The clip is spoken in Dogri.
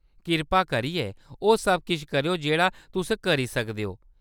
कृपा करियै ओह्‌‌ सब किश करेओ जेह्‌‌ड़ा तुस करी सकदे ओ।